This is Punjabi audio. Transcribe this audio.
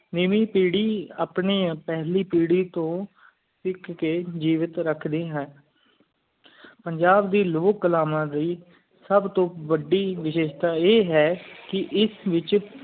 ਨਵੀ ਪੀਰੀ ਆਪਣੀ ਪਹਿਲੀ ਪੀਰੀ ਤੂੰ ਸਿੱਖ ਕ ਜੇਵਤ ਰੱਖਦੀ ਹੈ ਪੰਜਾਬ ਦੀ ਲੋਕ ਕਲਾਵਾਂ ਨੂੰ ਸਬ ਤੂੰ ਵੱਡੀ ਵਿਜਿਸਤਾ ਆ ਹੈ ਕ ਇਸ ਵਿਚ